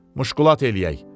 Muşkulat eləyək.